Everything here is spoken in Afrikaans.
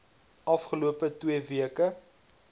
afgelope twee weke